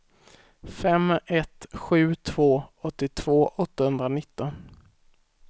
fem ett sju två åttiotvå åttahundranitton